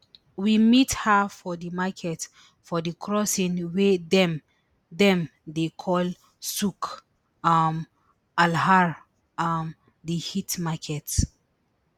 we meet her for di market for di crossing wey dem dem dey call souk um alhar um di heat market